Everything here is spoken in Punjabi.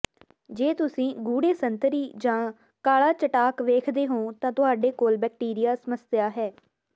ਜੇ ਤੁਸੀਂ ਗੂੜ੍ਹੇ ਸੰਤਰੀ ਜਾਂ ਕਾਲਾ ਚਟਾਕ ਵੇਖਦੇ ਹੋ ਤਾਂ ਤੁਹਾਡੇ ਕੋਲ ਬੈਕਟੀਰੀਆ ਸਮੱਸਿਆ ਹੈ